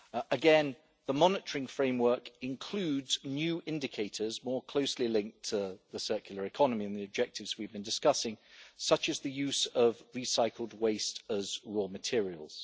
Again, the monitoring framework includes new indicators more closely linked to the circular economy and the objectives we've been discussing, such as the use of recycled waste as raw materials.